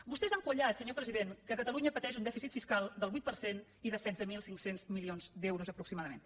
vostès han quallat senyor president que catalunya pateix un dèficit fiscal del vuit per cent i de setze mil cinc cents milions d’euros aproximadament